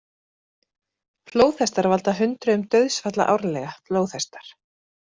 Flóðhestar valda hundruðum dauðsfalla árlega Flóðhestar